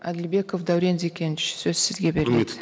әділбеков дәурен зекенович сөз сізге беріледі